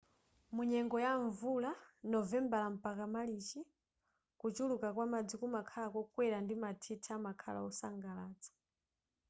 munyengo ya mvula novembala mpaka marichi kuchuluka kwa madzi kumakhala kokwera ndi mathithi amakhala wosangalatsa